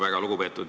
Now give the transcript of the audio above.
Aitäh!